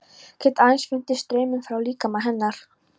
Get aðeins fundið strauminn frá líkama hennar.